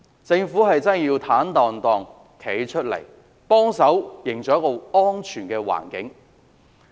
政府真的要坦蕩蕩站出來，協助營造一個安全的環境。